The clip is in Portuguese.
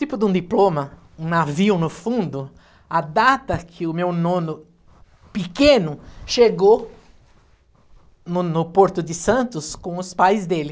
Tipo de um diploma, um navio no fundo, a data que o meu nono pequeno chegou no no Porto de Santos com os pais dele.